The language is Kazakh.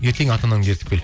ертең ата анаңды ертіп кел